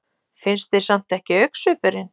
Finnst þér samt ekki augnsvipurinn.